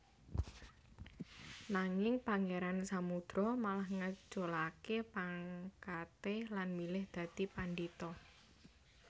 Nanging Pangeran Samudro malah ngeculake pangkate lan milih dadi pandhita